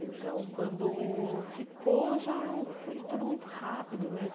Então, quando ficou, já foi tudo muito rápido, né?